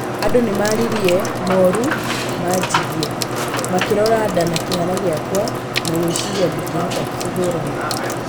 Andũ nĩmaririe moru manjĩgie, makĩrora nda na kĩhara gĩakwa na gwĩciria ndĩngĩhota kũhũrana